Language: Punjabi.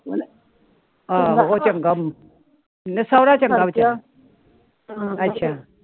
ਆਹੋ ਉਹ ਚੰਗਾ ਨਹੀ ਸੋਹਰਾ ਚੰਗਾ ਅੱਛਾ